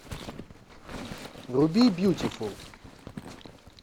вруби бьютифул